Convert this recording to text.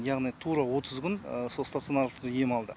яғни тура отыз күн сол станционарлық ем алды